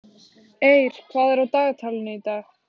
Eir, hvað er á dagatalinu í dag?